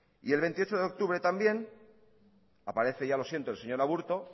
y el veintiocho de octubre también aparece ya lo siento el señor aburto